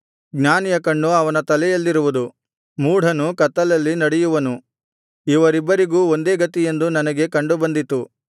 ಜ್ಞಾನಿಯ ಕಣ್ಣು ಅವನ ತಲೆಯಲ್ಲಿರುವುದು ಮೂಢನು ಕತ್ತಲಲ್ಲಿ ನಡೆಯುವನು ಇವರಿಬ್ಬರಿಗೂ ಒಂದೇ ಗತಿಯೆಂದು ನನಗೆ ಕಂಡು ಬಂದಿತು